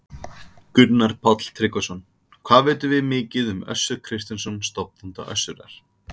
Gunnar Páll Tryggvason: Hvað vitum við mikið um Össur Kristinsson, stofnanda Össurar?